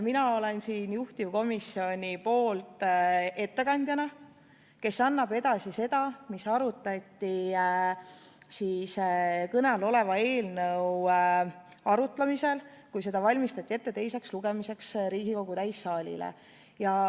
Mina olen siin juhtivkomisjoni ettekandjana, kes annab edasi seda, mida arutati kõne all oleva eelnõu menetlemisel, kui seda valmistati ette Riigikogu täissaalile teiseks lugemiseks.